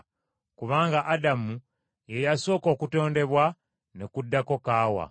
Kubanga Adamu ye yasooka okutondebwa, ne kuddako Kaawa.